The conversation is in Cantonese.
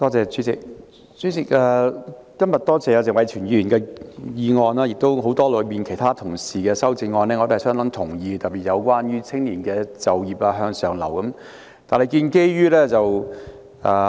主席，我感謝謝偉銓議員今天動議這項議案，我也相當同意很多同事的修正案，特別是有關青年就業和向上流動的修正案。